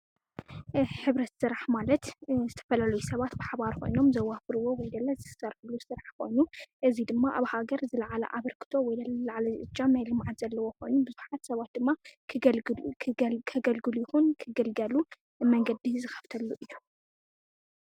ሕብረት ስራሕ ማለት ዝተፈላለዩ ሰባት ብሓባር ኾኖም ዘዋፍርዎ ወይለለ ዝሰርሕሉ ስርሕ ኾኑ እዙይ ድማ ኣብ ሃገር ዝለዓላ ኣበርክቶ ወይለለ ዝላዕለ ናይ ልምዓት እጃም ዘለዎ ኮኑ ብዙሓት ሰባት ድማ ከገልግሉ ይኩን ክግልገሉ መንገዲ ዝከፍትሉ እዩ።